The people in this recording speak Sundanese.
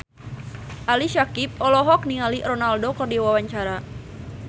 Ali Syakieb olohok ningali Ronaldo keur diwawancara